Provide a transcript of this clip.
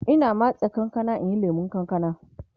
Ina matse kankanan in yi lemun kankana